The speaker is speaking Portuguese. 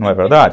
Não é verdade?